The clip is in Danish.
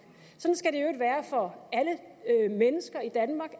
for alle mennesker i danmark